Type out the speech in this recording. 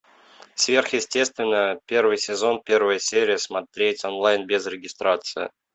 сверхъестественное первый сезон первая серия смотреть онлайн без регистрации